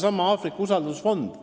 Aafrika jaoks on loodud usaldusfond.